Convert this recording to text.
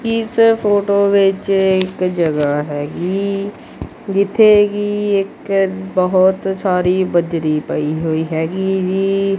ਇਸ ਫੋਟੋ ਵਿੱਚ ਇੱਕ ਜਗ੍ਹਾ ਹੈਗੀ ਜਿੱਥੇ ਕਿ ਇੱਕ ਬਹੁਤ ਸਾਰੀ ਬਜਰੀ ਪਈ ਹੋਈ ਹੈਗੀ ਏ ਜੀ।